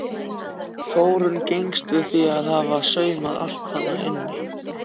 Þórunn gengst við því að hafa saumað allt þarna inni.